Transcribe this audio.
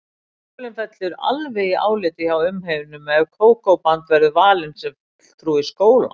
Skólinn fellur alveg í áliti hjá umheiminum ef Kókó-band verður valið sem fulltrúi skólans.